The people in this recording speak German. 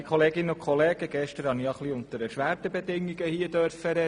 Gestern durfte ich unter etwas erschwerten Bedingungen sprechen.